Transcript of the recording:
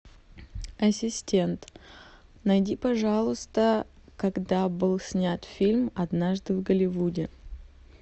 ассистент найди пожалуйста когда был снят фильм однажды в голливуде